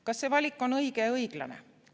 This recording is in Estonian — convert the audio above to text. Kas see valik on õige ja õiglane?